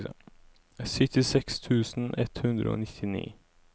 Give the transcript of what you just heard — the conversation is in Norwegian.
syttiseks tusen ett hundre og nittini